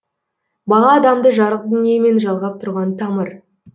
бала адамды жарық дүниемен жалғап тұрған тамыр